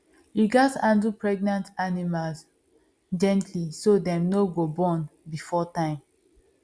you gatz handle pregnant animal gently so dem no go born before time